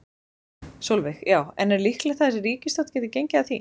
Sólveig: Já, en er líklegt að þessi ríkisstjórn geti gengið að því?